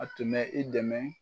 A tun bɛ i dɛmɛ